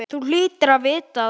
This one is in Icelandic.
Þú hlýtur að vita það.